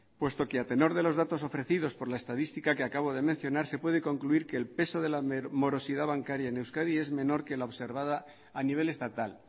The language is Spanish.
puesto que a tenor de los datos ofrecidos por la estadística que acabo de mencionar se puede concluir que el peso de la morosidad bancaria en euskadi es menor que la observada a nivel estatal